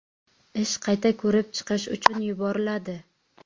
Ish qayta ko‘rib chiqish uchun yuboriladi.